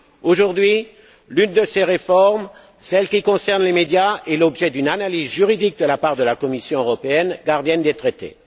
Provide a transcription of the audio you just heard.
Aujourd'hui, l'une de ces réformes celle qui concerne les médias fait l'objet d'une analyse juridique de la part de la Commission européenne, gardienne des traités.